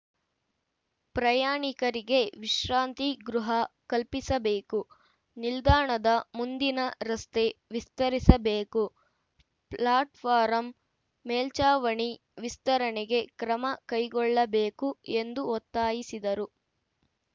ಪ್ರಯಾಣಿಕರಿಗೆ ವಿಶ್ರಾಂತಿ ಗೃಹ ಕಲ್ಪಿಸಬೇಕು ನಿಲ್ದಾಣದ ಮುಂದಿನ ರಸ್ತೆ ವಿಸ್ತರಿಸಬೇಕು ಫ್ಲಾಟ್‌ಫಾರಂ ಮೇಲ್ಚಾವಣಿ ವಿಸ್ತರಣೆಗೆ ಕ್ರಮ ಕೈಗೊಳ್ಳಬೇಕು ಎಂದು ಒತ್ತಾಯಿಸಿದರು